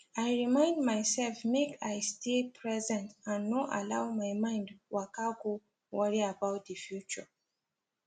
i remind myself make i stay present and no allow my mind waka go worry about the future